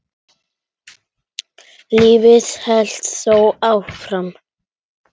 Lífið hélt þó áfram.